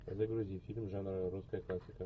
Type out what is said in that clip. загрузи фильм жанра русская классика